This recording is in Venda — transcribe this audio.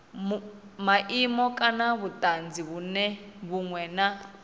maimo kana vhutanzi vhunwe na